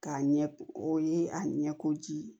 K'a ɲɛ o ye a ɲɛ ko ji ye